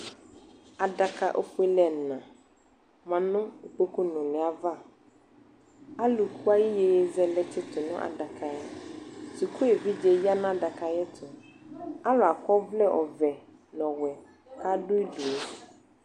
Adaka ofuele ɛna ma no ukpoku nule ava Aluki aye yeye zɛlɛ tsito ma adakaɛSuku evidze ya no adaka ayetoAlu akɔ ɔvlɛ ɔvɛ no ɔwɛ kado udue